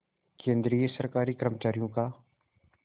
केंद्रीय सरकारी कर्मचारियों का